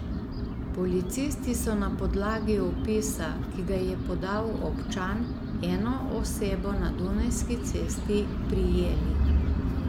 Policisti so na podlagi opisa, ki ga je podal občan, eno osebo na Dunajski cesti prijeli.